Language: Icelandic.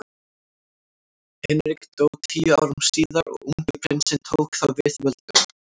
Hinrik dó tíu árum síðar og ungi prinsinn tók þá við völdum.